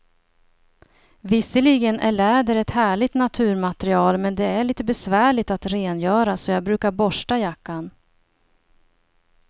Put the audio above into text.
Visserligen är läder ett härligt naturmaterial, men det är lite besvärligt att rengöra, så jag brukar borsta jackan.